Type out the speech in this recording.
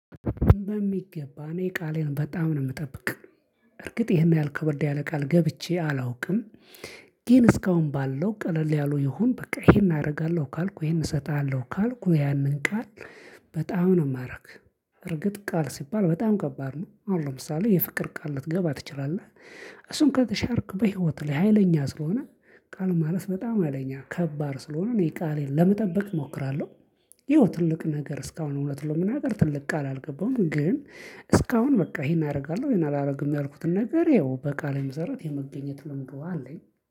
በሚገባ፤ እኔ ቃሌን በጣም ነው የምጠብቅ። እርግጥ ይሄን ያህል ከበደ ያለ ቃል ገብቼ አላውቅም። ግን እስካሁን ባለው ቀለል ያሉ ይሁን በቃ ይሄን አደርጋለሁ ካልኩ ይሄን እሰጣለሁ ካልኩ ያንን ቃል በጣም ነው የማደርግ። እርግጥ ቃል ሲባል በጣም ከባድ ነው። አሁን ለምሳሌ የፍቅር ቃል ልትገባ ትችላለህ። እሱን ከተሻርክ በህይወትህ ላይ ሀይለኛ ስለሆነ ቃል ማለት በጣም ሀይለኛ ከባድ ስለሆነ እኔ ቃሌን ለመጠበቅ እሞክራለሁ። ያው ትልቅ ነገር እስካሁን እውነት ለመናገር ትልቅ ቃል አልገባሁም፤ ግን እስካሁን በቃ ይሄን አደርጋለሁ ይሄን አላደርግም ያልኩትን ነገር ያው በቃሌ መሰረት የመገኘት ልምዱ አለኝ።